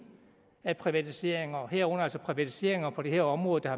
af privatiseringer herunder altså privatiseringer på det her område der